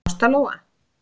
Ásta Lóa.